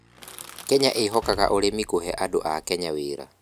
Kenya ĩhokaga ũrĩmi kũhee andũ akenya wĩra